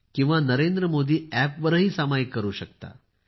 तुम्ही नरेंद्रमोदी App वर सामायिक करू शकता